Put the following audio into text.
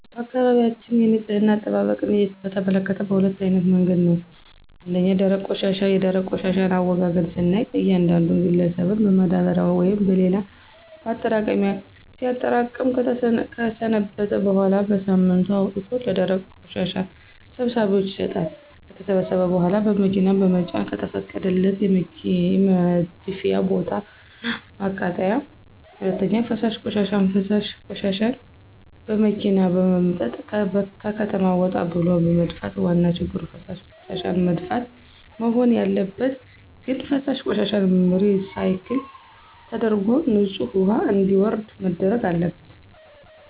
በአካባቢያችን የንፅህና አጠባበቅን በተመከተ በሁለት አይነት መንገድ ነው። ፩) ደረቅ ቆሻሻ፦ የደረቅ ቆሻሻን አወጋገድ ስናይ እያንዳንዱ ግለሰብን በማዳበሪያ ወይም በሌላ ማጠራቀሚያ ሲያጠራቅም ከሰነበተ በኋላ በሳምንቱ አውጥቶ ለደረቅ ቆሻሻ ሰብሳቢዎች ይሰጣሉ። ከተሰበሰበ በኋላ በመኪና በመጫን ከተፈቀደለት የመድፊያ ቦታ እና ማቃጠል። ፪) ፈሳሽ ቆሻሻ፦ ፈሳሽ ቆሻሻዎችን በመኪና በመምጠጥ ከከተማ ወጣ ብሎ መድፋት። ዋና ችግሩ ፈሳሽ ቆሻሻዎችን መድፋት? መሆን ያለበት ግን ፈሳሽ ቆሻሻዎችን ሪሳይክል ተደርጎ ንፅህ ውሀ እንዲወርድ መደረግ አለበት።